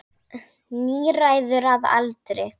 Níræður að aldri.